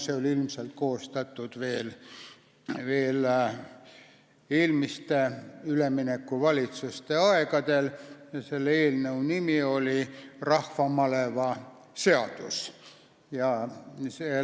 See oli ilmselt koostatud veel eelmiste, üleminekuvalitsuste aegadel ja selle eelnõu nimi oli rahvamaleva seaduse eelnõu.